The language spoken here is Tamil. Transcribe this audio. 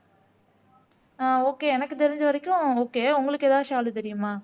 ஆஹ் ஓகே எனக்கு தெரிஞ்ச வரைக்கும் ஓகே உங்களுக்கு எதாவது ஷாலு தெரியுமா